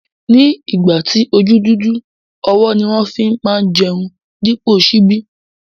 Ni ìgbà tí ojú dúdú, ọwọ́ ni wón má fi ń jẹun dípò ṣíbí